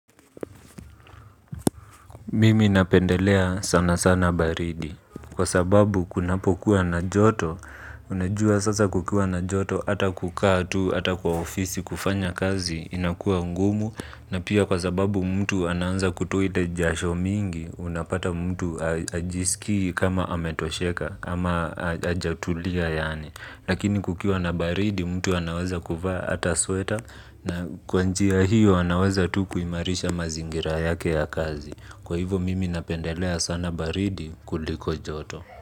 Mimi napendelea sana sana baridi kwa sababu kunapokuwa na joto. Unajua sasa kukiwa na joto hata kukaa tu hata kwa ofisi kufanya kazi inakua ngumu. Na pia kwa sababu mtu ananza kutuide jasho mingi unapata mtu hajisiki kama ametosheka ama hajatulia yaani. Lakini kukiwa na baridi mtu anaweza kuvaa hata sweta na kwa njia hiyo anaweza tu kuimarisha mazingira yake ya kazi Kwa hivo mimi napendelea sana baridi kuliko joto.